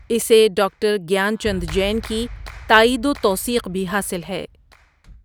اسے ڈاکٹر گیان چند جین کی تائید و توثیق بھی حاصل ہے ۔